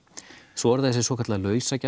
svo er það þessi svokallaða